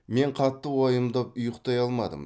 мен қатты уайымдап ұйықтай алмадым